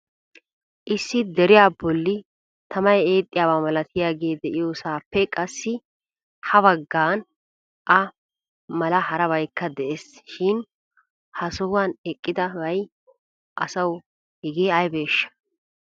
Issi deriya bolli tamay eexiyaaba malatiyaagee de'iyoosappe qassi ha baggan a mala harabaykka de'ees. Shin ha sohuwan eqqidi be'iya asaw hege aybbeshsha?